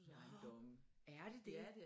Nåh er det dét!